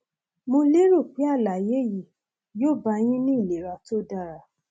mo lérò pé àlàyé yìí yóò bá a yín ní ìlera tó dára